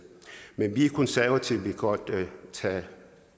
men vi konservative vil godt tage